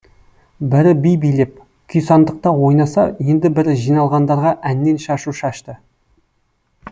бірі би билеп күйсандықта ойнаса енді бірі жиналғандарға әннен шашу шашты